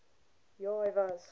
ja hy was